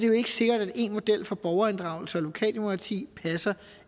jo ikke sikkert at ens model for borgerinddragelse og lokaldemokrati passer